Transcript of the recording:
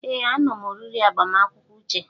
Ee, anom oriri agbamakwụkwọ Uche.